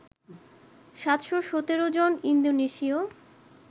৭১৭ জন ইন্দোনেশীয়